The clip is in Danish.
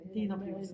Det er en oplevelse